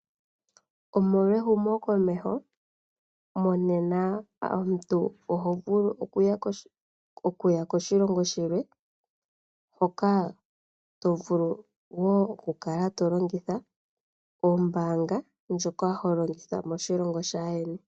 Omolwa ehumo komeho monena omuntu oho vulu okuya koshilongo shilwe hoka tovulu wo okukala tolongitha oombaanga ndjoka holongitha mishilongo shaayeni.